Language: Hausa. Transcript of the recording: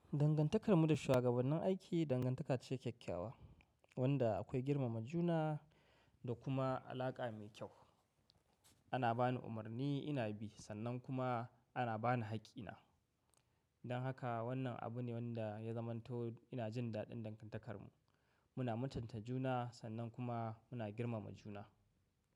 Dangantakar mu da shuwagabannin aiki dangantaka ce kyakkyawa, wanda akwai girmama juna da kuma alaƙa mai kyau. Ana bani umarni ina bi sannan kuma ana bani haƙƙi na. Don haka wannan abu ne wanda ya zamanto ina jin daɗin dangantakar mu. Muna muntanta juna sannan kuma muna girmama juna.